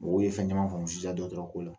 Mɔgɔw ye fɛn caman faamu sisan dɔgɔtɔrɔko la